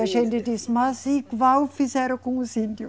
E a gente diz, mas igual fizeram com os índio